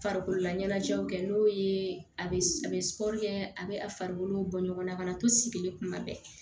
Farikololaɲɛnajɛw kɛ n'o ye a bɛ a bɛ a bɛ a farikolo bɔ ɲɔgɔnna to sigilen kuma bɛɛ